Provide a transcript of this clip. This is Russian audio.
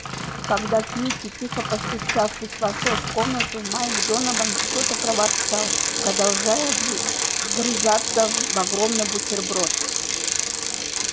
когда кьюти тихо постучавшись вошёл в комнату майк донован что-то проворчал продолжая вгрызаться в огромный бутерброд